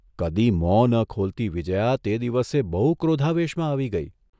કદી મોં ન ખોલતી વિજ્યા તે દિવસે બહુ ક્રોધાવેશમાં આવી ગઇ.